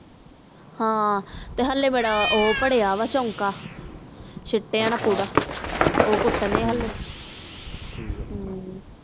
ਹਾਂ ਹਾਲੇ ਮੇਰਾ ਉਹ ਬਣਿਆ ਬ ਚੋਂਕ ਛਿਟੀਆਂ ਦਾ ਪੂਰਾ ਉਹ ਕੁਟਨੇ ਆ ਹਾਲੇ